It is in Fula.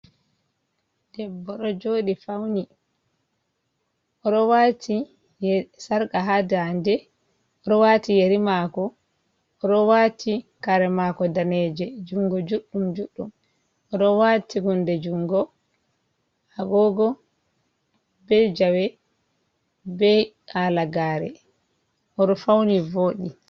Debbo ɗo joɗi fauni oɗo wati sarka ha nda nde, oɗo wati yeri mako oɗo wati kare mako daneje jungo juɗɗum ,Oɗo wati hunde jungo agogo be jawe be halagare oɗo fauni vodi.